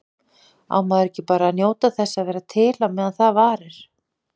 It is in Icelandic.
Á maður ekki bara að njóta þess að vera til á meðan það varir?